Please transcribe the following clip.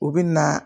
U bɛ na